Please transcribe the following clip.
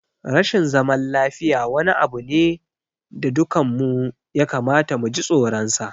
Rashin zaman lafiya wani abu ne da dukanmu ya kamata mu ji tsoronsa.